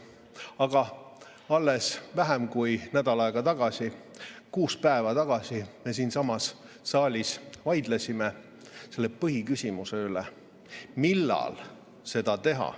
Aga alles vähem kui nädal aega tagasi, kuus päeva tagasi vaidlesime me siinsamas saalis selle põhiküsimuse üle, millal seda teha.